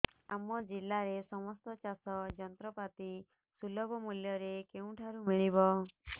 ଆମ ଜିଲ୍ଲାରେ ସମସ୍ତ ଚାଷ ଯନ୍ତ୍ରପାତି ସୁଲଭ ମୁଲ୍ଯରେ କେଉଁଠାରୁ ମିଳିବ